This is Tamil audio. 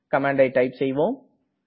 கமாண்டை டைப் செய்வோம்